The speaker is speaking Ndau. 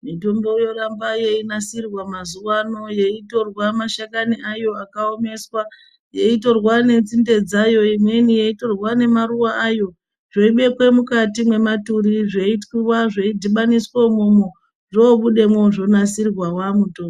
Mitombo yoramba yeinasirwa mazuwa ano yeitorwa mashakani ayo akaomeswa. Yeitorwa nenzinde dzayo, imweni yeitorwa nemaruwa ayo. Zveibekwa mukati mwematuri, zveitwiwa, zveidhibaniswa umwomwo. Zvoubudamwo zvonasirwa waamutombo.